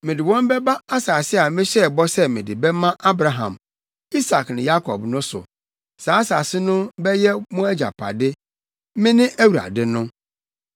Mede wɔn bɛba asase a mehyɛɛ bɔ sɛ mede bɛma Abraham, Isak ne Yakob no so. Saa asase no bɛyɛ mo agyapade. Mene Awurade no.’ ”